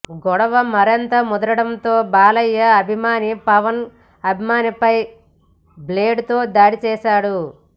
గొడవ మరింత ముదరడంతో బాలయ్య అభిమాని పవన్ అభిమానిపై బ్లేడుతో దాడిచేశాడు